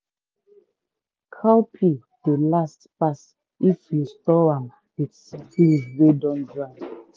cowpea dey last pass if you store am with scent leaf wey don dry.